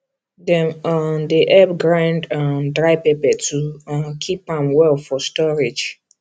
dem um dey help grind um dry pepper to um keep am well for storage